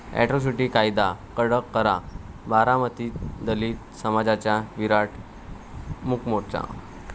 atrocity कायदा कडक करा, बारामतीत दलित समाजाचा विराट मूकमोर्चा